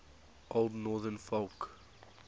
old northern folk